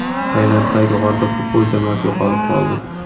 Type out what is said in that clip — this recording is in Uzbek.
Tailanddagi g‘orda futbol jamoasi yo‘qolib qoldi.